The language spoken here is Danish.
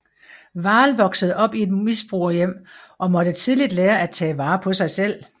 Wahl voksede op i et misbrugerhjem og måtte tidligt lære at tage vare på sig selv